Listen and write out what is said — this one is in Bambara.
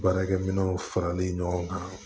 Baarakɛminɛnw faralen ɲɔgɔn kan